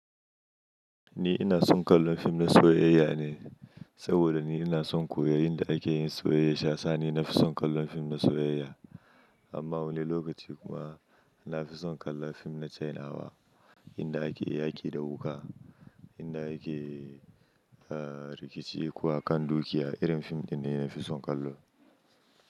Ni ina son kallon fim na soyayya ne, saboda ni ina son koyon yadda ake yin soyayya. Saisa na fi son kallon fim na soyayya. Amma wani lokaci kuma na fi son kallon fim na Chinawa inda ake yaƙi da wuka, inda ake, rikici kuwa akan doki, irin fim ɗin ne na fi son kallo.